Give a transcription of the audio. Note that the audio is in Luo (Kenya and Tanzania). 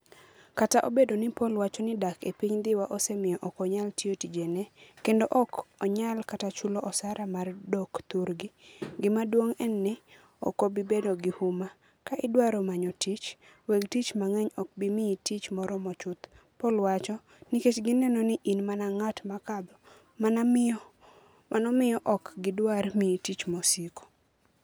Kata obedo ni Paul wacho ni dak e piny Dhiwa osemiyo ok onyal tiyo tijene, kendo ok onyal kata chulo osara mar dok thurgi, gima duong ' en ni, ok obi bedo gi huma, ka idwaro manyo tich, weg tich mang'eny ok bi miyi tich moromo chuth", Paul wacho, "nikech gineno ni in mana ng'at ma kadho, mano miyo ok gidwar miyi tich mosiko.